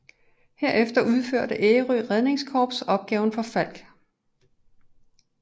Herefter udførte Ærø Redningskorps opgaven for Falck